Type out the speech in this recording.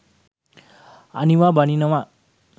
අනිවා බානවා